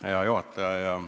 Hea juhataja!